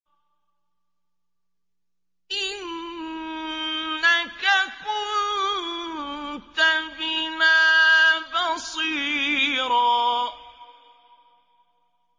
إِنَّكَ كُنتَ بِنَا بَصِيرًا